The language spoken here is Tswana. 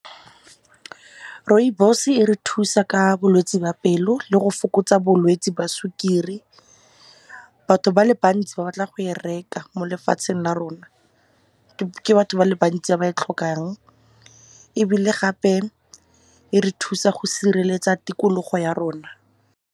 Rooibos e re thusa ka bolwetse ba pelo le go fokotsa bolwetse ba sukiri. Batho ba le bantsi ba batla go e reka mo lefatsheng la rona, ke batho ba le bantsi ba e tlhokang. Ebile gape e re thusa go sireletsa tikologo ya rona.